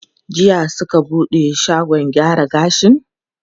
Jiya suka buɗe shagon gyara gashin?